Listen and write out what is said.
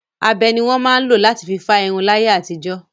Abẹ ni wọn máa ń lọ látí fi fá irun láyé àtijọ́.